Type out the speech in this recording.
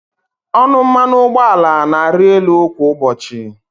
Ọnụ mmanụ ụgbọala na-arị elu kwa ụbọchị.